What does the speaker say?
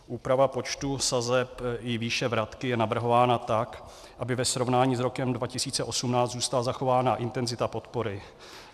Úprava počtu sazeb i výše vratky je navrhována tak, aby ve srovnání s rokem 2018 zůstala zachována intenzita podpory.